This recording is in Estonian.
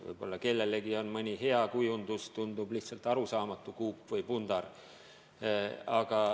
Võib-olla kellelegi mõni kujunduselement tundub lihtsalt arusaamatu kuup või pundar.